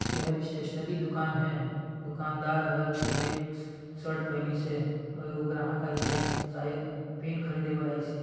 यह स्टेशनरी दुकान है दुकानदार हर चेक्स शर्ट पहनी से और एक ग्राहक आई से से शायद पेन खरीदे बर आई से।